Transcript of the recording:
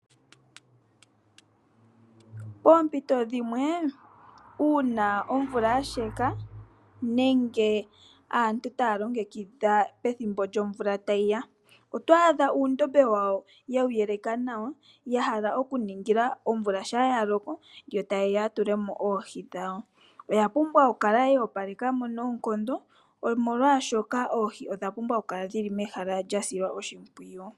Poompito dhimwe uuna omvula ya sheka nenge aantu taya longekidha pethimbo lyomvula tayi ya, oto adha uundombe wawo yewu yeleka nawa, ya ningila omvula shampa ya loko yo taya tula mo oohi dhawo. Oya pumbwa okukala ya opaleka mo nawa, molwashoka oohi odha pumbwa okukala dhi li mehala lya silwa oshimpwiyu.